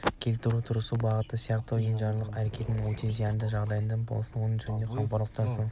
келтіруге тырысып бағуы сияқты енжарлық әрекеттері өте зиянды жағдайда болмасын ол жөнінде қамқорлық жасауы тиіс